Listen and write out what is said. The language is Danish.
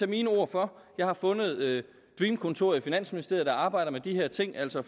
mine ord for jeg har fundet dream kontoret i finansministeriet der arbejder med de her ting altså